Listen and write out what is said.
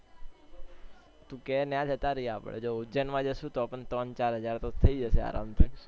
તું કે ત્યાં જતા રહીએ આપડે જો ઉજ્જૈન માં જશું તો પણ ત્રણ ચાર હાજર થઇ જશે આરામથી